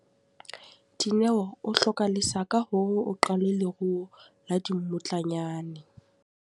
Dineo o hloka lesaka hore o qale leruo la dimmutlanyane.